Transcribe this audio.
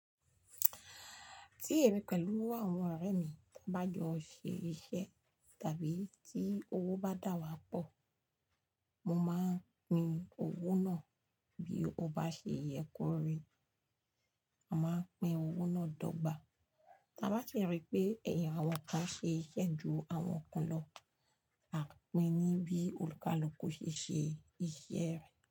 Tí èmi pẹ̀lú àwọn ọ̀rẹ́ mi bá jọ ṣe iṣẹ́ tàbí tí owó bá dà wá pọ̀, mo máa ń pín owó náà bí ó bá ṣe yẹ kó rí. A máa ń pín owó náà dọ́gba. Tí a bá rí pé ẹ̀yà àwọn kan ṣe iṣẹ́ ju àwọn kan lọ, a pín ní bí olùkálúkú ṣe ṣe iṣẹ́ rẹ̀.